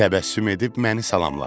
Təbəssüm edib məni salamladı.